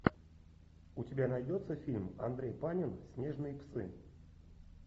у тебя найдется фильм андрей панин снежные псы